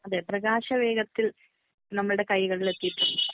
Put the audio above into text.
അതെ പ്രകാശ വേഗത്തിൽ നമ്മുടെ കൈകളിൽ എത്തിയിട്ടുണ്ട്.